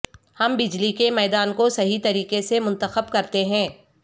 ہم بجلی کے میدان کو صحیح طریقے سے منتخب کرتے ہیں